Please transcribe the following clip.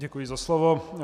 Děkuji za slovo.